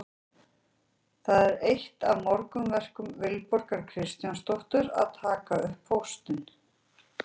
Það er eitt af morgunverkum Vilborgar Kristjánsdóttur að taka upp póstinn.